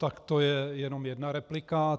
Tak to je jenom jedna replika.